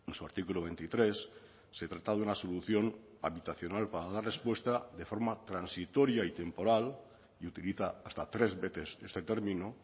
su artículo veintitrés se trata de una solución habitacional para dar respuesta de forma transitoria y temporal y utiliza hasta tres veces este término